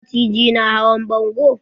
Maciji na hawan bango?